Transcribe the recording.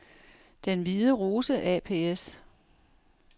Den Hvide Rose ApS